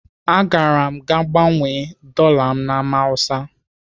Agara m gaa gbanwee dọla na Ámá Hausa.